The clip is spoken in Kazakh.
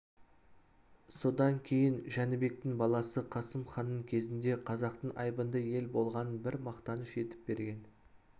содан кейін жәнібектің баласы қасым ханның кезінде қазақтың айбынды ел болғанын бір мақтаныш етіп берген